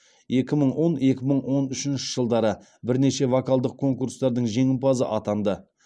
екі мың он екі мың он үшінші жылдары бірнеше вокалдық конкурстардың жеңімпазы атанды